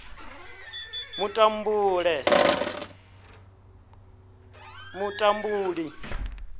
mutambule